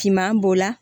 Finman b'o la